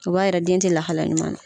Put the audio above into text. O b'a yira den tɛ lahalaya ɲuman na.